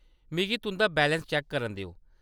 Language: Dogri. मिगी तुंʼदा बैलेंस चैक्क करन देओ।